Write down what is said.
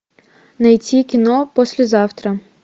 найти кино послезавтра